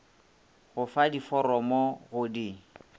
go fa diforomo go di